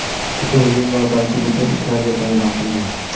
Butun Rim va balki butun Italiya bayram qilgan.